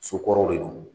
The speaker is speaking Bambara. Sokɔrɔw de don